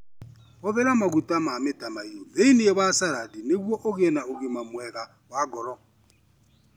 Hũthĩra maguta ma mĩtamaiyũ thĩinĩ wa salad nĩguo ũgĩe na ũgima mwega wa ngoro.